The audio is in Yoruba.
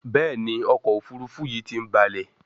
Béèni ọkọ̀ òfurufú yi tí ń balè.